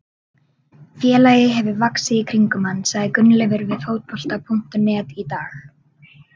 Félagið hefur vaxið í kringum hann, sagði Gunnleifur við Fótbolta.net í dag.